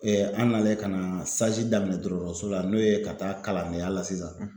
an nalen ka na daminɛ dɔrɔrɔrɔso la n'o ye ka taa kalandenya la sisan